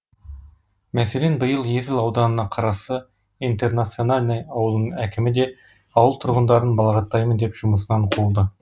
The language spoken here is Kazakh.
мәселен биыл есіл ауданына қарасты интернациональный ауылының әкімі де ауыл тұрғындарын балағаттаймын деп жұмысынан қуылды